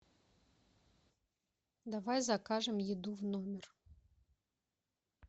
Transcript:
давай закажем еду в номер